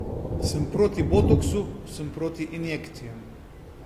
Sem proti botoksu, sem proti injekcijam.